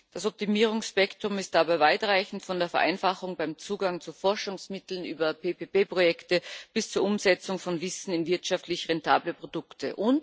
Das Optimierungsspektrum ist dabei weitreichend von der Vereinfachung beim Zugang zu Forschungsmitteln über PPP Projekte bis zur Umsetzung von Wissen in wirtschaftlich rentable Produkte.